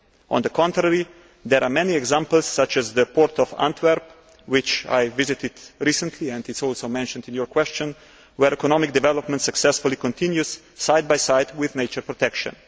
On the contrary, there are many examples such as the Port of Antwerp which I visited recently and which is also mentioned in your question where economic development successfully continues side by side with nature protection.